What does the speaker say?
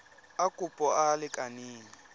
a kopo a a lekaneng